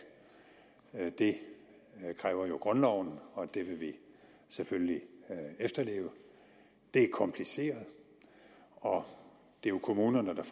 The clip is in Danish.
er opkrævet skatter det kræver grundloven jo og det vil vi selvfølgelig efterleve det er kompliceret og det er kommunerne der